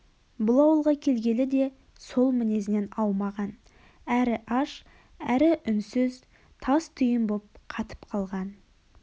бұл ауылға келгелі де сол мінезінен аумаған әрі аш әрі үнсіз тас түйін боп қатып қалған